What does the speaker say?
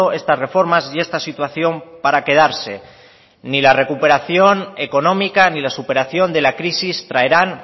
estas reformas y esta situación para quedarse ni la recuperación económica ni la superación de la crisis traerán